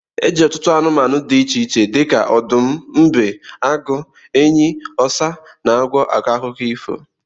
Eji ọtụtụ anumanu di iche iche dika odum, mbe, agu, enyi, osa, na agwo ako akuko ifo.